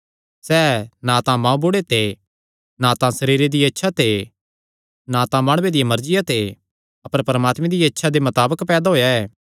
सैह़ ना तां माँबुढ़े ते ना तां सरीरे दिया इच्छा ते ना तां माणुये दिया मर्जिया ते अपर परमात्मे दिया इच्छा दे मताबक पैदा होएया ऐ